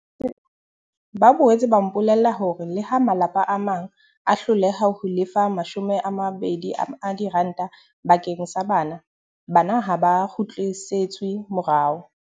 Ba boetse ba mpolella hore leha malapa a mang a hloleha ho lefa R20 bakeng sa bana, bana ha ba kgutlisetswe morao.